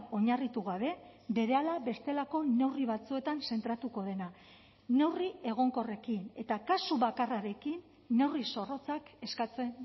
oinarritu gabe berehala bestelako neurri batzuetan zentratuko dena neurri egonkorrekin eta kasu bakarrarekin neurri zorrotzak eskatzen